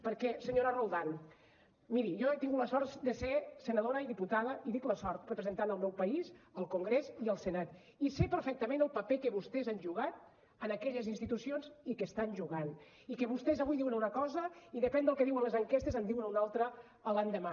perquè senyora roldán miri jo he tingut la sort de ser senadora i diputada i dic la sort representant el meu país al congrés i al senat i sé perfectament el paper que vostès han jugat en aquelles institucions i que hi estan jugant i que vostès avui diuen una cosa i depèn del que diuen les enquestes en diuen una altra l’endemà